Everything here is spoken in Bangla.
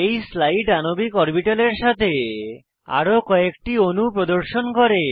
এই স্লাইড আণবিক অরবিটালের সাথে আরো কয়েকটি অণু প্রদর্শন করে